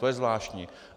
To je zvláštní.